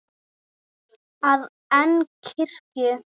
að en kirkju.